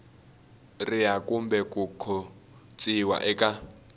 riha kumbe ku khotsiwa eka